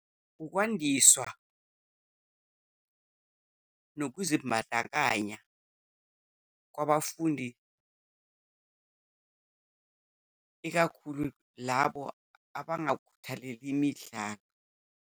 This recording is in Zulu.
Ukwandiswa nokuzibandakanya kwabafundi, ikakhulu labo abangakhuthaleli imidlalo.